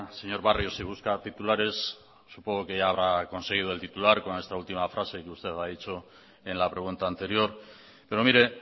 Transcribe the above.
señor barrio si busca titulares supongo que ya habrá conseguido el titular con esta última frase que usted ha dicho en la pregunta anterior pero mire